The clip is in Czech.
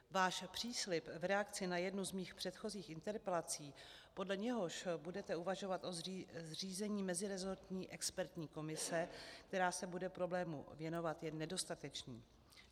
Váš příslib v reakci na jednu z mých předchozích interpelací, podle něhož budete uvažovat o zřízení meziresortní expertní komise, která se bude problému věnovat, je nedostatečný.